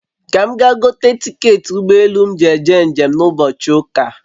Ka m gaa gote tiketị ụgbọ elù m nji eje njem na ụbọchị ụ́kà